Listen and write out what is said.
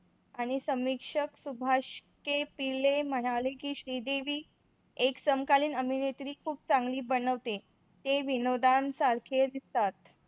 आणि समीक्षण सुभाष चे पिल्ले म्हणाले की श्रीदेवी एक समकालीन अभिनेत्री खूप चांगली बनवते. ते विनोदानं सारखे दिसतात.